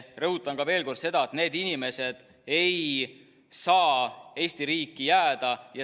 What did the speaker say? Rõhutan veel kord seda, et need inimesed ei saa Eesti riiki jääda.